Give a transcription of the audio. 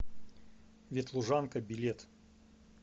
ветлужанка билет